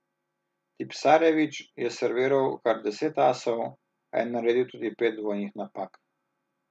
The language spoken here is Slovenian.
Tipsarević je serviral kar deset asov, a je naredil tudi pet dvojnih napak.